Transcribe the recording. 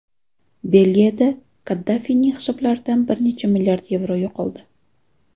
Belgiyada Qaddafiyning hisoblaridan bir necha milliard yevro yo‘qoldi.